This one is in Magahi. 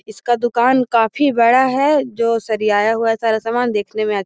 इसका दूकान काफी बड़ा है जो सरिआया हुआ है सारा सामान देखने में --